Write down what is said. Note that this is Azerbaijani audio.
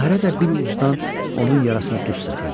Bahirə də bir ucdan onun yarasına duz səpirdi.